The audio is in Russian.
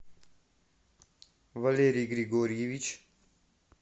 валерий григорьевич